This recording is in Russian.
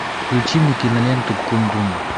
включи мне киноленту кундун